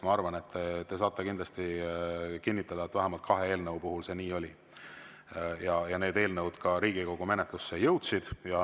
Ma arvan, et te saate kinnitada, et vähemalt kahe eelnõu puhul see nii oli, ja need eelnõud Riigikogu menetlusse jõudsid.